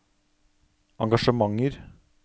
engasjementer